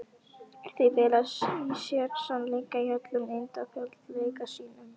Þau fela í sér sannleikann í öllum einfaldleika sínum.